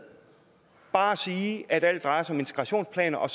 bare at sige at alt drejer sig om integrationsplaner og